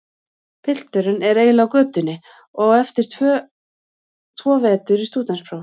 Pilturinn er eiginlega á götunni og á eftir tvo vetur í stúdentspróf.